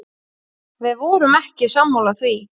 Við vorum ekki sammála því.